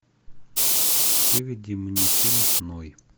выведи мне фильм ной